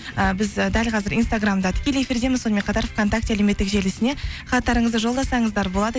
і біз дәл қазір инстаграмда тікелей эфирдеміз сонымен қатар вконтакте әлеуметтік желісіне хаттарыңызды жолдасаңыздар болады